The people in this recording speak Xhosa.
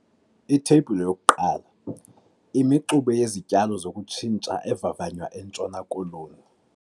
Itheyibhile 1- Imixube yezityalo zokutshintsha evavanywa eNtshona Koloni.